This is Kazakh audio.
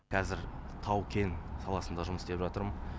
қазір тау кен саласында жұмыс істеп жатырмын